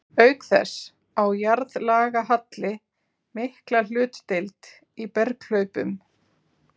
Auk þess á jarðlagahalli mikla hlutdeild í berghlaupum.